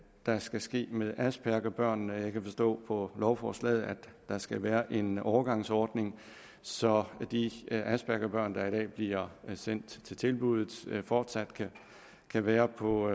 der skal ske med aspergerbørnene jeg kan forstå på lovforslaget at der skal være en overgangsordning så de aspergerbørn der i dag bliver sendt til tilbuddet fortsat kan være på